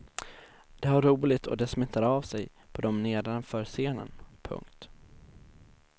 De har roligt och det smittar av sig på dem nedanför scenen. punkt